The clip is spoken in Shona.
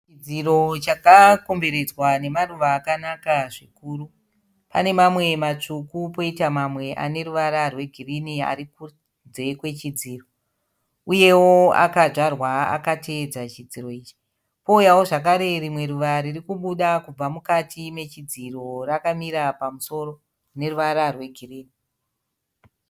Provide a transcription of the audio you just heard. Chidziro chakakomberedzwa nemaruva akanaka zvikuru. Pane mamwe matsvuku poita mamwe aneruva rwe girinhi ari kunze kwe chidziro. Uyewo akadyarwa akatevedza chidziro ichi . Pouyawo zvekare rimwe ruva ririkubuda kubva mukati mechidziro rakamira pamusoro rine ruvara rwe girinhi.